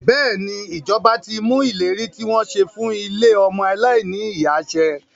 Bẹ́ẹ̀ni, ìjọba ti mú ìlérí tí wọ́n ṣe fún ilé ọmọ aláìní ìyá ṣẹ.